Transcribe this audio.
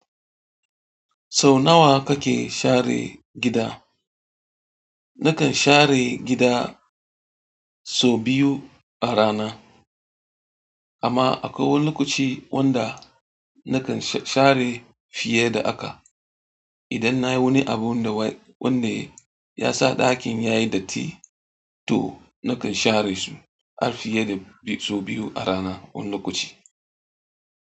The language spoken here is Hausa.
Sau nawa kake share gida? Na kan share gida sau biyu a rana, amma akwai wani lokaci wanda na kan share fiye da haka. Idan nayi wani abun da wanda ya sa ɗakin yayi datti, to na kan share su har fiye da sau biyu a rana wani lokaci.